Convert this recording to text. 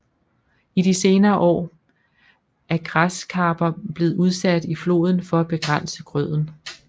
I de senere år er græskarper blevet udsat i floden for at begrænse grøden